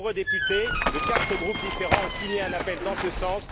De nombreux députés, de quatre groupes différents, ont signé un appel dans ce sens.